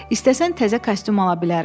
“İstəsən təzə kostyum ala bilərəm.”